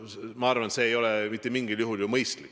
Ma arvan, et see ei ole mitte mingil juhul mõistlik.